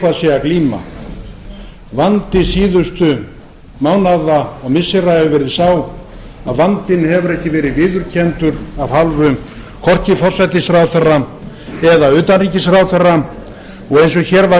sé að glíma vandi síðustu mánaða og missira hefur verið sá að vandinn hefur ekki verið viðurkenndur af hálfu hvorki forsætisráðherra eða utanríkisráðherra og eins og hér var